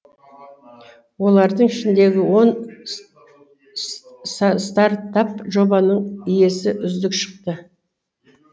олардың ішіндегі он стартап жобаның иесі үздік шықты